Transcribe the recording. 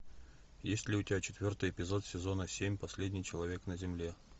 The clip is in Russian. есть ли у тебя четвертый эпизод сезона семь последний человек на земле